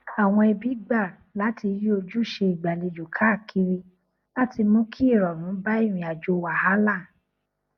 àwọn ẹbí gbà láti yí ojúṣe ìgbàlejò káàkiri láti mú kí ìrọrùn bá ìrìn àjò wàhálà